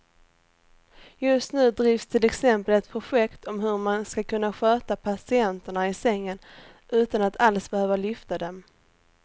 Just nu drivs till exempel ett projekt om hur man ska kunna sköta patienterna i sängen utan att alls behöva lyfta dem.